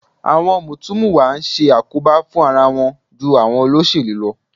Àwọn mùtúmùwà ń ṣe àkóbá fún ara wọn ju àwọn olóṣèlú lọ